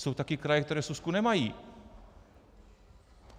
Jsou taky kraje, které súsku nemají.